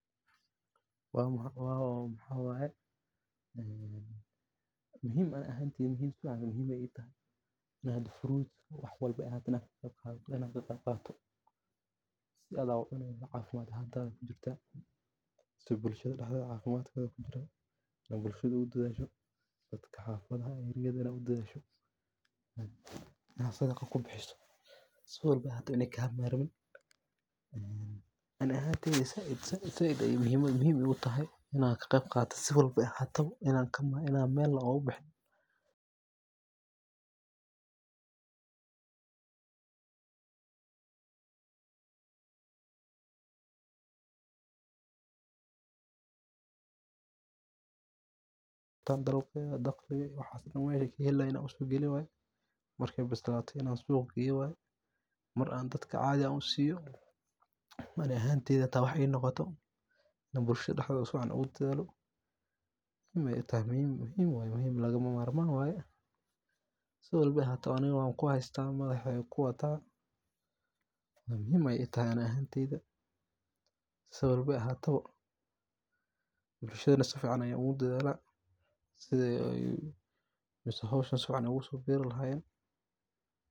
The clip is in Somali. Maxa waye muhim ayey ehed la jaanqaadaa roobabka ama nidaamka waraabka. Marka dhulku si wanaagsan loo diyaariyo, miraha la beero waxay helaan fursad fiican oo ay si caafimaad leh ugu baxaan, taasoo horseedaysa dalag badan oo tayo leh. Sidaa darteed, diyaarinta dhulka waa aasaaska guusha beerta iyo horumarinta wax-soosaarka cuntada.